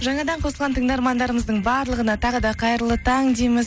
жаңадан қосылған тыңдармандарымыздың барлығына тағы да қайырлы таң дейміз